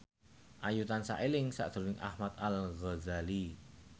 Ayu tansah eling sakjroning Ahmad Al Ghazali